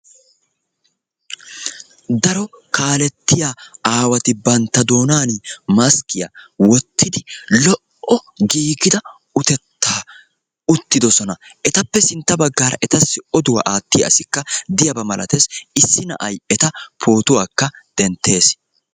Daro kaalettiya aawati bantta doonaani maskkiya wottidi lo"o giigida utettaa uttidossona. Etappe sintta baggaara etassi oduwa aattiya asikka diyaba malates issi na'ay eta pootuwakka denttees.